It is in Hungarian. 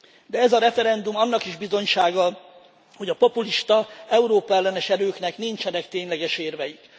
De ez a referendum annak is bizonysága, hogy a populista, Európa ellenes erőknek nincsenek tényleges érveik.